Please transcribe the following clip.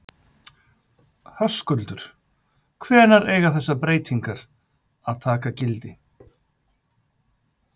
Höskuldur, hvenær eiga þessar breytingar að taka gildi?